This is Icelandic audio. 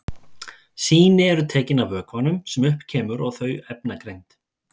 Sýni eru tekin af vökvanum sem upp kemur og þau efnagreind.